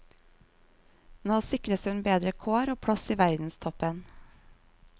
Nå sikres hun bedre kår og plass i verdenstoppen.